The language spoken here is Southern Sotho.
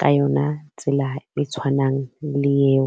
ka yona tsela e tshwanang le eo.